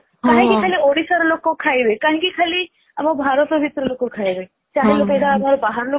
କାହିଁକି ଖାଲି ଓଡିଶାର ଲୋକ ଖାଇବେ କାହିଁକି ଖାଲି ଆମ ଭରତ ଭିତର ଲୋକ ଖାଇବେ ବାହାର ଲୋକ